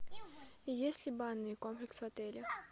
есть ли банный комплекс в отеле